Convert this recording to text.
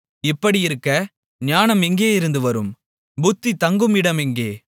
இப்படியிருக்க ஞானம் எங்கேயிருந்து வரும் புத்தி தங்கும் இடம் எங்கே